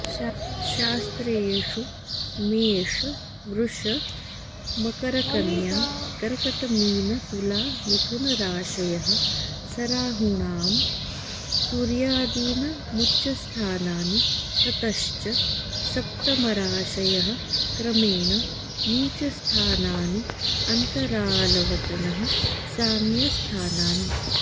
शास्त्रेषु मेषवृषमकरकन्याकर्कटमीनतुलामिथुनराशयः सराहूणां सूर्यादीनामुच्चस्थानानि ततश्च सप्तमराशयः क्रमेण नीचस्थानानि अन्तरालवतनः साम्यस्थानानि